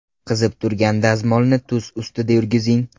Qizib turgan dazmolni tuz ustida yurgizing.